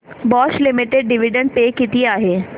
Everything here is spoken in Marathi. बॉश लिमिटेड डिविडंड पे किती आहे